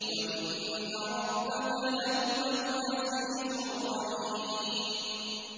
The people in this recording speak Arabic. وَإِنَّ رَبَّكَ لَهُوَ الْعَزِيزُ الرَّحِيمُ